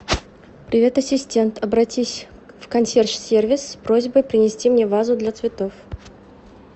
привет ассистент обратись в консьерж сервис с просьбой принести мне вазу для цветов